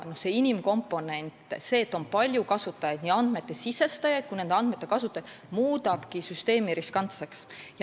Inimkomponent – see, et on palju kasutajaid, nii andmete sisestajaid kui ka nende andmete kasutajaid – muudabki süsteemi riskantseks.